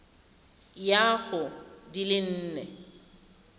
ya go di le nne